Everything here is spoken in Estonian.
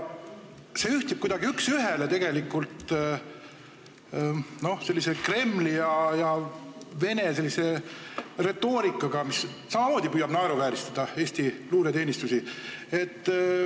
See ühtib kuidagi üks ühele sellise Kremli ja Vene retoorikaga, mis püüab samamoodi naeruvääristada Eesti luureteenistusi.